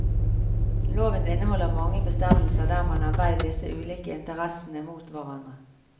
Loven inneholder mange bestemmelser der man har veid disse ulike interessene mot hverandre.